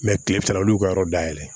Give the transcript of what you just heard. kile fila olu y'u ka yɔrɔ dayɛlɛ